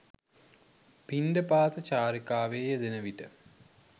පිණ්ඩපාත චාරිකාවේ යෙදෙන විට